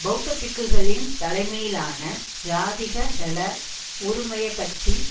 பெளத்த பிக்குகளின் தலைமையிலான ஜாதிக ஹெல உறுமய கட்சி